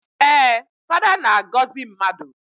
Ee, Fada na-agọzị mmadụ.